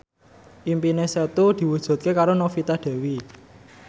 impine Setu diwujudke karo Novita Dewi